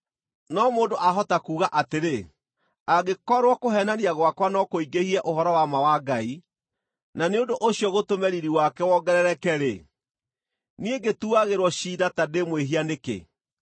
No mũndũ ahota kuuga atĩrĩ, “Angĩkorwo kũheenania gwakwa no kũingĩhie ũhoro-wa-ma wa Ngai, na nĩ ũndũ ũcio gũtũme riiri wake wongerereke-rĩ, niĩ ngĩtuagĩrwo ciira ta ndĩ mwĩhia nĩkĩ?”